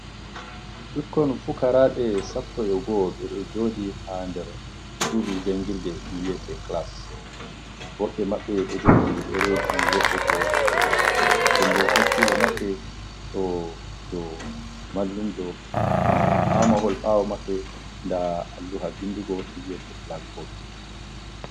Ɓikkon fukaraɓe Sappo e goo ɓe ɗo jodi ha der sudu jangirde viete class woɓɓe maɓɓe ɗo jogi ɗereji woɓɓe bo jogai dembo hakkilo maɓɓe do mallumjo dembo ha mahol ɓawo maɓɓe da alluha vindugo viete bolakbod.